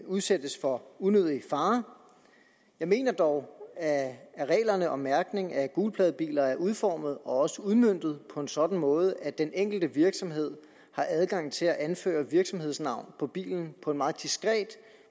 udsættes for unødig fare jeg mener dog at reglerne om mærkning af gulpladebiler er udformet og også udmøntet på en sådan måde at den enkelte virksomhed har adgang til at anføre virksomhedsnavn på bilen på en meget diskret